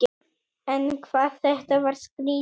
En hvað þetta var skrýtið.